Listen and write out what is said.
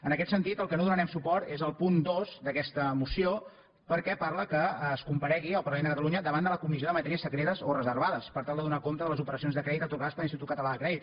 en aquest sentit al que no donarem suport és al punt dos d’aquesta moció perquè parla que es comparegui al parlament de catalunya davant de la comissió de matèries secretes o reservades per tal de donar compte de les operacions de crèdit atorgades per l’institut català de crèdit